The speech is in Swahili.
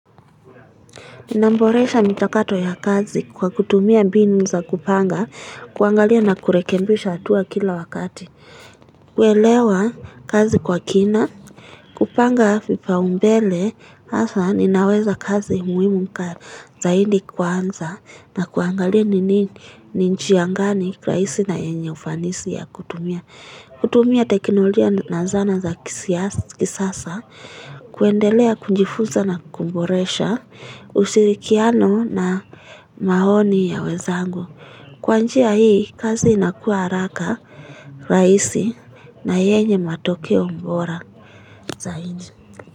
Naboresha mchakato ya kazi kwa kutumia mbinu za kupanga, kuangalia na kurekebisha hatua kila wakati kuelewa kazi kwa kina, kupanga vipaumbele, hasa ninaweza kazi muhimu zaidi kwanza na kuangalia ni nini, ni njia gani rahisi na yenye ufanisi ya kutumia kutumia teknologia na zana za kisasa kuendelea kujifuza na kuboresha ushirikiano na maoni ya wenzangu kwa njia hii kazi inakuwa haraka, rahisi na yenye matokeo bora zaidi.